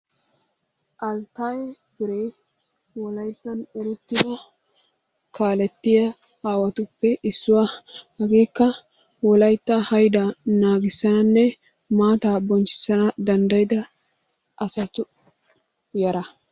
Alttaayee Fire wolayttan erettida kaalettiya aawatuppe issuwa. Hageekka wolaytta haydaa naagissananne maataa bonchchissana danddayida asatu yara.